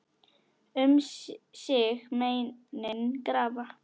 Um sig meinin grafa.